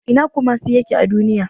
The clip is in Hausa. Ina ne Kumasi a Duniya?